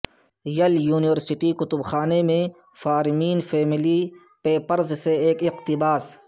یل یونیورسٹی کتب خانے میں فارمین فیملی پیپرز سے ایک اقتباس